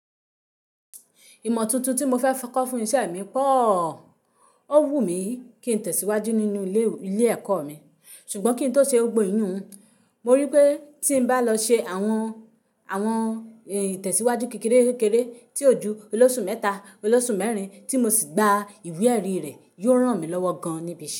Ìmọ̀ tuntun tí mo fẹ́ kọ́ fún iṣẹ́ mi pọ̀ o. Ó wù mí kí n tẹ̀síwájú nínú ilé ẹ̀kọ́ mi, ṣùgbọ́n kí n tó ṣe gbogbo ìyùn, mo rí i pé tí n bá lọ ṣe àwọn, àwọn ìtẹ̀síwájú kékeré-kékeré tí ojú ọlọ́ṣù mẹ́ta, ọlọ́ṣù mẹ́rin tí mo sì gba ìwe ẹ̀rí rẹ̀ yóò ran mi lọ́wọ́ gan-an níbi iṣẹ́.